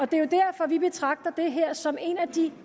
det er jo derfor vi betragter det her som en af de